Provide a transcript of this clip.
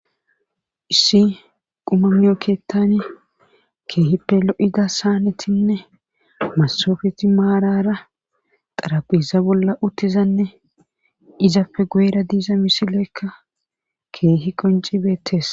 Issi qumanyo keettani keehippe lo7ida saanetinne masofeti maarara xarabiza bolla uttizanne izapfe gueera diiza misileekka keehi qoncibeettees.